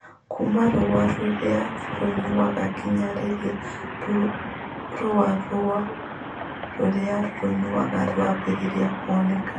Kuuma rũũa rũrĩa rũiyũru nginya rĩrĩa rũũa rũu rũrĩa rũiyũru rũambĩrĩria kuoneka